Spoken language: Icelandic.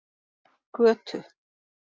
Götu